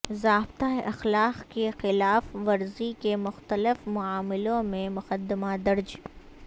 ضابطہ اخلاق کی خلاف ورزی کے مختلف معاملوں میں مقدمہ درج